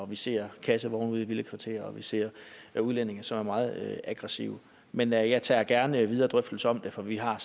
vi ser kassevogne ude i villakvartererne og vi ser udlændinge som er meget aggressive men jeg jeg tager gerne videre drøftelser om det for vi har